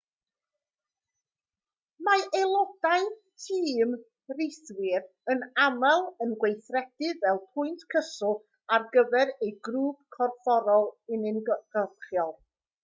mae aelodau tîm rhithwir yn aml yn gweithredu fel pwynt cyswllt ar gyfer eu grŵp corfforol uniongyrchol